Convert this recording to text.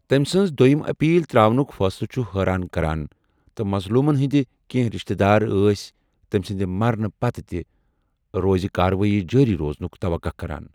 تمہِ سٕنٛز دویِم أپیٖل تراونُك فٲصلہٕ چھُ حٲران كران ، تہٕ مظلوٗمن ہِنٛدِ کیٚنٛہہ رِشتہٕ دار ٲسۍ تمہِ سٕندِ مرنہٕ پتہٕ تہِ روزِ کاروٲیی جٲری روزنُك توقہ كران ۔